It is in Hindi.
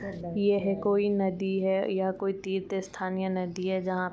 यह कोई नदी है। यह कोई तीर्थ स्थान या नदी है जहाँ --